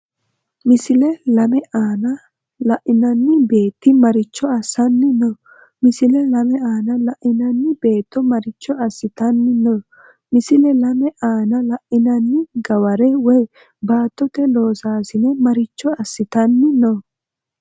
Misile lame aana la’inanni beetti maricho assanni no? Misile lame aana la’inanni beetto maricho assitanni no? Misile lame aana la’inanni gaware(baattote loosaasine) maricho assitan- ni no?